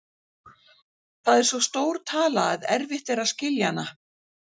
Það er svo stór tala að erfitt er að skilja hana.